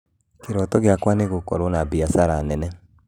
Kĩroto gĩakwa nĩ gũkũrwo na biacara nene